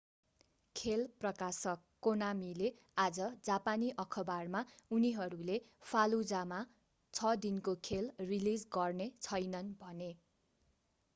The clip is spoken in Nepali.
खेल प्रकाशक konamiले आज जापानी अखबारमा उनीहरूले fallujah मा छ दिनको खेल रिलीज गर्ने छैनन्‌ भने।